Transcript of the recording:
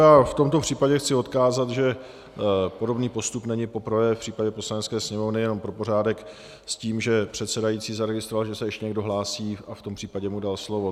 Já v tomto případě chci odkázat, že podobný postup není poprvé v případě Poslanecké sněmovny, jenom pro pořádek, s tím, že předsedající zaregistroval, že se ještě někdo hlásí, a v tom případě mu dal slovo.